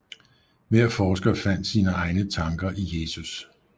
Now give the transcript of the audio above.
Hver forsker fandt sine egne tanker i Jesus